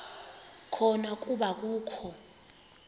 khona kuba akakho